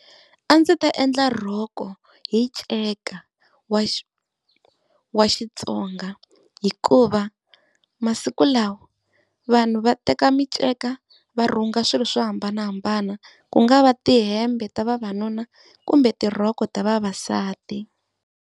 A ndzi ta endla rhoko hi nceka wa wa Xi Xitsonga, hikuva masiku lawa vanhu va teka miceka va rhunga swilo swo hambanahambana, ku nga va tihembe ta vavanuna kumbe tirhoko ta vavasati.